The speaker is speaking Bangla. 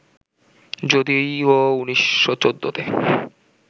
যদিও ১৯১৪ তে